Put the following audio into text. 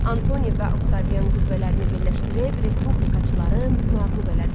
Antoni və Oktavian qüvvələrini birləşdirib respublikaçıları məğlub elədilər.